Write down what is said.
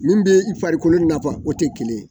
Min bɛ i farikolokolo nafa fɔ o tɛ kelen ye.